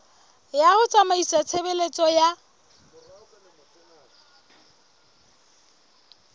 ya ho tsamaisa tshebeletso ya